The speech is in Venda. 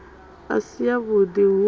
i si yavhud i hu